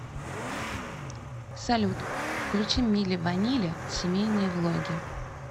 салют включи мили ванили семейные влоги